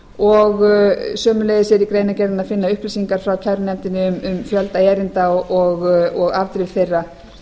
og sömuleiðis er í greinargerðinni að finna upplýsingar frá kærunefndinni um fjölda erinda og afdrif þeirra